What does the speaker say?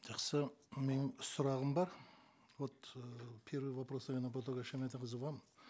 жақсы менің сұрағым бар вот э первый вопрос наверно ботакөз шаймарданқызы вам